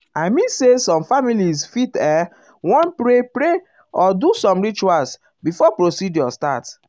i mean say some families fit ehm want um pray pray or um do some rituals before procedure start.